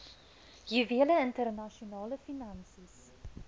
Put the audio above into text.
juwele internasionale finansies